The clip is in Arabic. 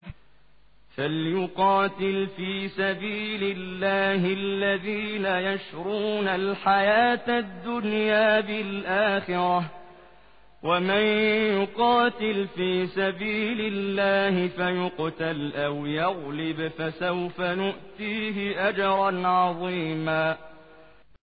۞ فَلْيُقَاتِلْ فِي سَبِيلِ اللَّهِ الَّذِينَ يَشْرُونَ الْحَيَاةَ الدُّنْيَا بِالْآخِرَةِ ۚ وَمَن يُقَاتِلْ فِي سَبِيلِ اللَّهِ فَيُقْتَلْ أَوْ يَغْلِبْ فَسَوْفَ نُؤْتِيهِ أَجْرًا عَظِيمًا